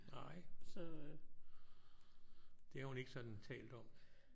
Nej. Det har hun ikke sådan talt om?